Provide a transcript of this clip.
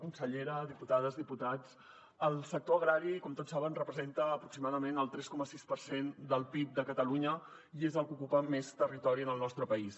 consellera diputades diputats el sector agrari com tots saben representa aproximadament el tres coma sis per cent del pib de catalunya i és el que ocupa més territori en el nostre país